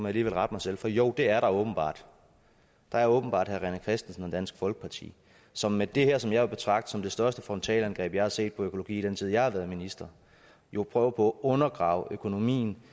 alligevel rette mig selv for jo det er der åbenbart der er åbenbart herre rené christensen og dansk folkeparti som med det her som jeg vil betragte som det største frontalangreb jeg har set på økologi i den tid jeg har været minister jo prøver på at undergrave økonomien